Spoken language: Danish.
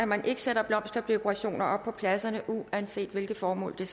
man ikke sætte blomsterdekorationer op på pladserne uanset hvilket formål